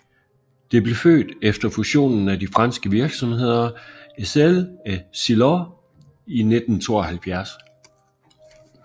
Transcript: Det blev født efter fusionen af de franske virksomheder Essel og Silor i 1972